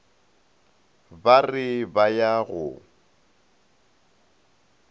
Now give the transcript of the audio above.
ba re ba ya go